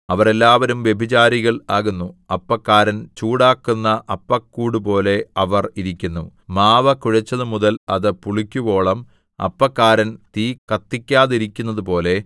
അവർ എല്ലാവരും വ്യഭിചാരികൾ ആകുന്നു അപ്പക്കാരൻ ചൂടാക്കുന്ന അപ്പക്കൂടുപോലെ അവർ ഇരിക്കുന്നു മാവു കുഴച്ചതുമുതൽ അത് പുളിക്കുവോളം അപ്പക്കാരൻ തീ കത്തിക്കാതിരിക്കുന്നതുപോലെ